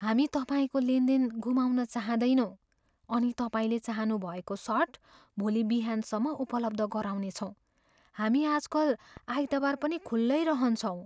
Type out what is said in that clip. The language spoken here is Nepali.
हामी तपाईँको लेनदेन गुमाउन चाहँदैनौँ अनि तपाईँले चाहनु भएको सर्ट भोलि बिहानसम्म उपलब्ध गराउनेछौँ। हामी आजकल आइतबार पनि खुल्लै रहन्छौँ।